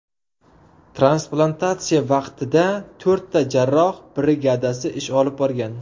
Transplantatsiya vaqtida to‘rtta jarrohlar brigadasi ish olib borgan.